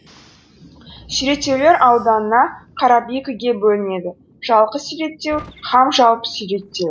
суреттеулер ауданына қарап екіге бөлінеді жалқы суреттеу һәм жалпы суреттеу